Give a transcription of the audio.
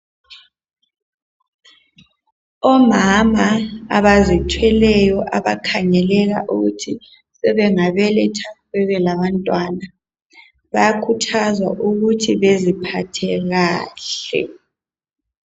Omama abazithweleyo abakhangeleka ukuthi sebengabeletha bebelabantwana bayakhuthazwa ukuthi beziphathe kahle.